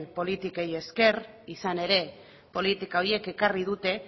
politikei esker izan ere politika horiek ekarri dute